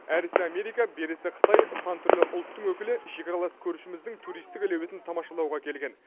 әрісі америка берісі қытай сан түрлі ұлттың өкілі шекаралас көршіміздің туристік әлеуетін тамашалауға келген